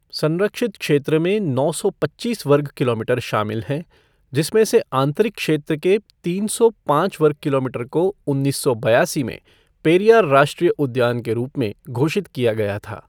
संरक्षित क्षेत्र में नौ सौ पच्चीस वर्ग किलोमीटर शामिल हैं, जिसमें से आंतरिक क्षेत्र के तीन सौ पाँच वर्ग किलोमीटर को उन्नीस सौ बयासी में पेरियार राष्ट्रीय उद्यान के रूप में घोषित किया गया था।